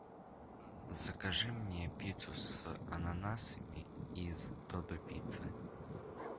закажи мне пиццу с ананасами из додо пицца